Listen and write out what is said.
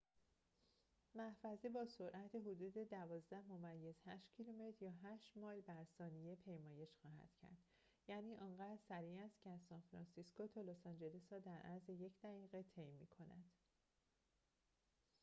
محفظه با سرعت حدود ۱۲.۸ کیلومتر یا ۸ مایل بر ثانیه پیمایش خواهد کرد یعنی آنقدر سریع است که از سان‌فرانسیسکو تا لس‌آنجلس را در عرض یک دقیقه طی می‌کند